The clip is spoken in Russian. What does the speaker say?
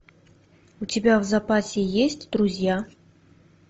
у тебя в запасе есть друзья